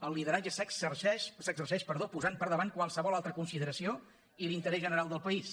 el lideratge s’exerceix posant per davant qualsevol altra consideració i l’interès general del país